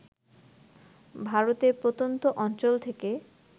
ভারতের প্রত্যন্ত অঞ্চল থেকে